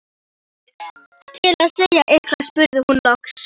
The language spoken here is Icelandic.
Til að segja eitthvað spurði hún loks: